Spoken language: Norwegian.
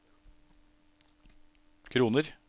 kroner